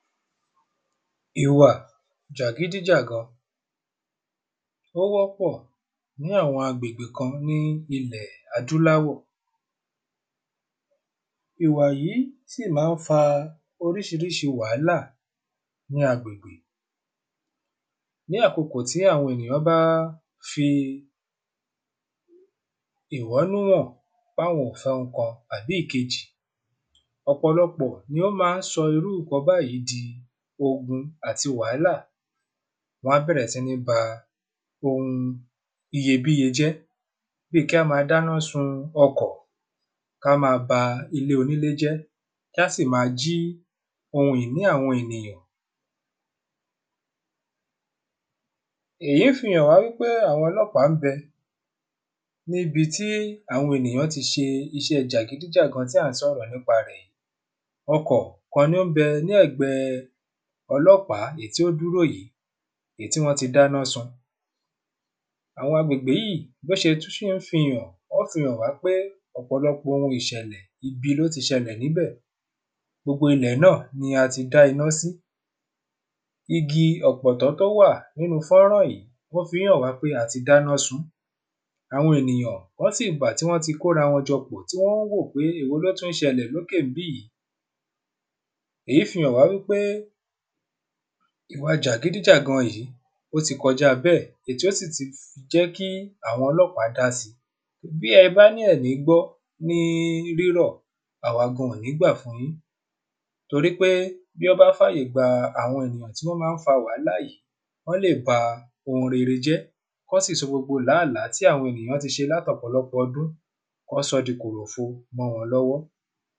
Ìwà jàgídí jàgan, ó wọ́pọ̀ ní àwọn agbègbè kan ní ilẹ̀ adúláwọ̀. Ìwà yí síì má ń fa orísirísi wàhálà ní agbègbè. Ní àkókò tí àwọn ènìyàn bá fi ìwọ́nú hàn pé àwọn ò fẹ oun kan àbí ìkejì, ọ̀pọ̀lọpọ̀ ni ó ma ń sọ irú ǹkan báyi di ogun àti wàhálà. Wọ́n á bẹ̀rẹ̀ síní ba oun iyebíye jẹ́, bi kí á ma dáná sun ọkọ̀, ká ma ba ilé onílé jẹ́, kàsí ma jí oun ìní àwọn ènìyàn. Èyí fi hàn wá wípé àwọn ọlọ́pàá ń bẹ níbití àwọn ènìyàn ti ṣe iṣẹ jàgídí jàgan tí à ń sọ̀rọ̀ nípa rẹ̀ yí. Okò kan ni ó ń bẹ ní ègbé ọlọ́pàá èyí tí o dúró yí, èyí tí wọ́n ti dáná sun. Àwọn agbègbè yí, bí ó tún ṣe fi hàn, ó fi hàn wá pé, ọ̀pọ̀lọpọ̀ oun ìṣẹ̀lẹ̀ ibi, ló ti ṣẹlẹ̀ níbẹ̀, gbogbo ilẹ̀ náà ni a ti dá iná sí. Igi ọ̀pọ̀tọ́ tó wà nínu fọ́nrán yí, o fi ń hàn wá pé a ti dáná sun, Àwọn ènìyàn, wọ́n sì wà, tí wọ́n ti ko ara wọn pọ̀, tí wọ́n tún wò wípé èwo lótún ṣẹlẹ̀ lókè níbí, èyí fi hàn wá wípé, ìwa jàgídí jàgan yí, ó ti kọjá bẹ́ẹ̀, èyí tó sì ti jẹ́ kí àwọn ọlọ́pàá dá si, bí ẹ bá ní ẹ ò ní gbọ́ ní rírọ̀,à wa gan, ò ní gbà fun yín, torí pé tí wọ́n bá fà yè gba àwọn ènìyàn tí wọ́n ma ń fa wàhálà yí, wọ́n lè ba oun rere jẹ́, kí wọ́n sì sọ gbogbo làálàá tí àwọn ènìyàn ti ṣe láti ọ̀pọ̀lọpọ̀ ọdún, kí wọ́n sọ ọ́ di kòròfo mọ́ wọn lọ́wọ́.